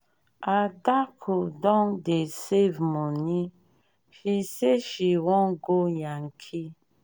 adaku don dey save moni she say she wan go yankee.